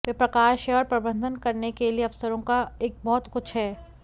वह प्रकाश है और प्रबंधन करने के लिए अवसरों का एक बहुत कुछ है